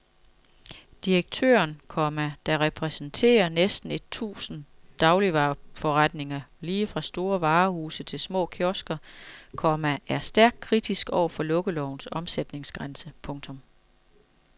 Direktøren, komma der repræsenterer næsten et tusind dagligvareforretninger lige fra store varehuse til små kiosker, komma er stærkt kritisk over for lukkelovens omsætningsgrænse. punktum